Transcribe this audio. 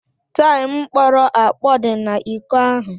Taịm kpọrọ akpọ dị n'iko ahụ.